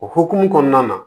O hokumu kɔnɔna na